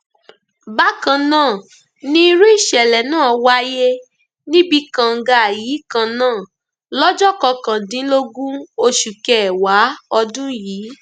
bákan náà ni irú ìṣẹlẹ náà wáyé níbi kànga yìí kan náà lọjọ kọkàndínlógún oṣù kẹwàá ọdún yìí